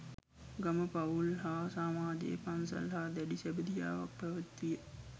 ගම, පවුල් හා සමාජය පන්සල හා දැඬි සැබැඳියාවක් පැවැත්විය.